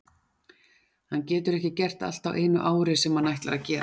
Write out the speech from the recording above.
Hann getur ekki gert allt á einu ári sem hann ætlar að gera.